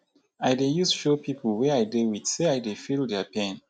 i dey use show pipo wey i dey wit sey i dey feel their pain.